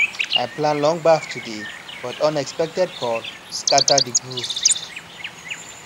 i plan long baff today but unexpected call scatter the groove